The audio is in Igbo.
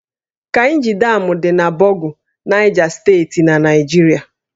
Kainji Dam dị na Bogu, Naịja Steeti na Naịjirịa